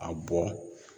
A bɔ